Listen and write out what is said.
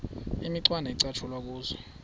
imicwana ecatshulwe kuzo